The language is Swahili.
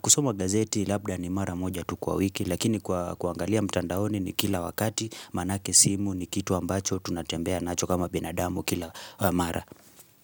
Kusoma gazeti labda ni mara moja tu kwa wiki lakini kuangalia mtandaoni ni kila wakati maanake simu ni kitu ambacho tunatembea nacho kama binadamu kila mara.